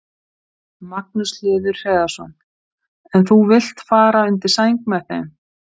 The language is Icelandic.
Magnús Hlynur Hreiðarsson: En þú vilt fara undir sæng með þeim?